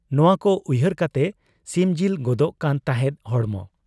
ᱱᱚᱣᱟᱠᱚ ᱩᱭᱦᱟᱹᱨ ᱠᱟᱛᱮ ᱥᱤᱢᱡᱤᱞ ᱜᱚᱫᱚᱜ ᱠᱟᱱ ᱛᱟᱦᱮᱸᱫ ᱦᱚᱲᱢᱚ ᱾